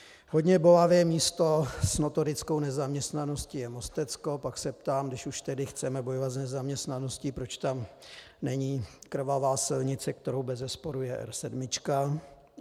Hodně bolavé místo s notorickou nezaměstnaností je Mostecko, pak se ptám, když už tedy chceme bojovat s nezaměstnaností, proč tam není krvavá silnice, kterou bezesporu je R7.